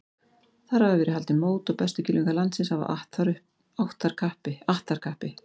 Þar hafa verið haldin mót og bestu kylfingar landsins hafa att þar kappi.